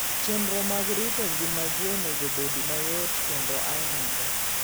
Chenro mag rito ngima ji onego obed mayot kendo ayanga.